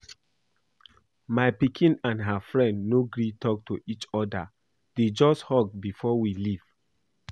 My pikin and her friend no gree talk to each other, dey just hug before we leave